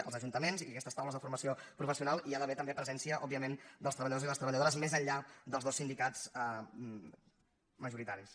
als ajuntaments i a aquestes taules de formació professional hi ha d’haver també presència òbviament dels treballadors i les treballadores més enllà dels dos sindicats majoritaris